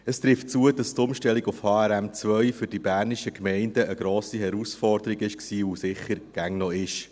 Es trifft zu, dass die Umstellung auf HRM2 für die bernischen Gemeinden eine grosse Herausforderung war und immer noch ist.